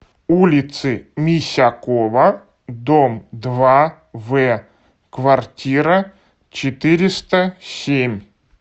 улицы мисякова дом два в квартира четыреста семь